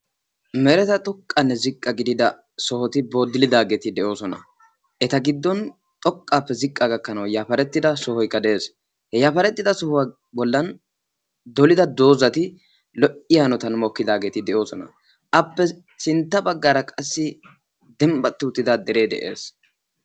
Meretatu ziqqanne xoqqa gidida booddilidaageti de'oosona. Eta giddon xoqqaappe ziqqaa gakkanawu yafarettida sohoykka de'ees. He yafarettida sohuwa bollan dolida doozzati lo''iya hanotan mokkidaageeti de'oosona. Appe sintta baggaara qassi dembbatti uttida deree de'ees.